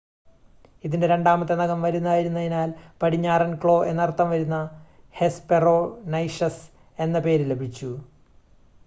"ഇതിന്റെ രണ്ടാമത്തെ നഖം വലുതായിരുന്നതിനാൽ "പടിഞ്ഞാറൻ ക്ലോ" എന്ന് അർത്ഥം വരുന്ന ഹെസ്‌പെറോനൈഷസ് എന്ന പേര് ലഭിച്ചു.